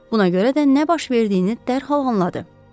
Buna görə də nə baş verdiyini dərhal anladı.